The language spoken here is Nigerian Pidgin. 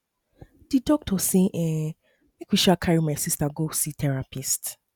di doctor say um make um we um carry my sista go see therapist